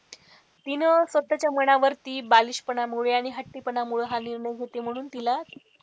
तिने स्वतःच्या मनावरती बालिशपणा मुले आणि हट्टीपणामुळे हा निर्णय घेते म्हणून तिला,